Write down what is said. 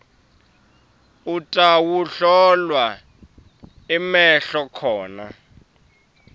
utawuhlolwa emehlo khona